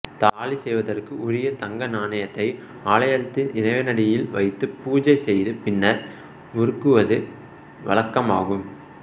தாலி செய்வதற்கு உரிய தங்க நாணயத்தை ஆலயத்தில் இறைவனடியில் வைத்துப் பூசை செய்து பின்னர் உருக்குவது வழக்கமாகும்